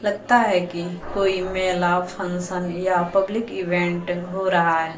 लगता है कि कोई मेला फंक्शन या पब्लिक इवेंट हो रहा है।